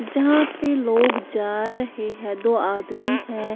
यहां पे लोग जा रहे हैं दो आदमी हैं।